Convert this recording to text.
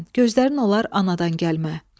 Gözlərin olar anadan gəlmə.